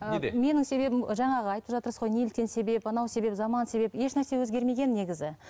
неде менің себебім жаңағы айтып жатырсыз ғой неліктен себеп анау себеп заман себеп еш нәрсе өзгермеген негізі